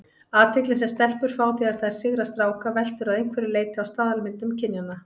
Athyglin sem stelpur fá þegar þær sigra stráka veltur að einhverju leyti á staðalmyndum kynjanna.